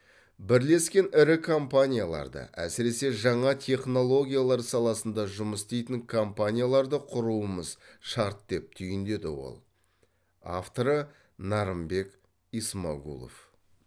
бірлескен ірі компанияларды әсіресе жаңа технологиялар саласында жұмыс істейтін компанияларды құруымыз шарт деп түйіндеді ол авторы нарымбек исмагулов